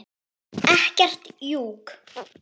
Ekkert jukk.